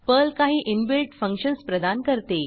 Perl काही inbuilt functions प्रदान करते